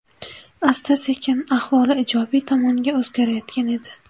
Asta-sekin ahvoli ijobiy tomonga o‘zgarayotgan edi.